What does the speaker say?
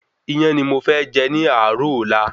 Iyán ni mo fẹ́ jẹ ní àárò ọ̀la